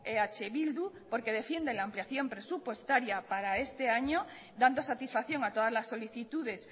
eh bildu porque defiende la ampliación presupuestaria para este año dando satisfacción a todas las solicitudes